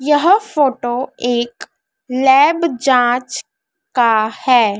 यह फोटो एक लैब जांच का हैं।